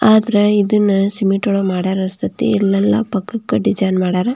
ಆದ್ರೆ ಇದನ್ನ ಸಿಮೆಂಟ್ ಒಳಗ ಮಾಡ್ಯಾರ ಅನ್ಸ್ತಾಸ್ಥೆ ಇಲ್ಲೆಲ್ಲಾ ಪಕ್ಕಕ್ಕೆ ಡಿಸೈನ್ ಮಾಡಾರ.